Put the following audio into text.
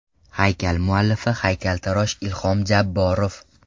Haykal muallifi haykaltarosh Ilhom Jabborov.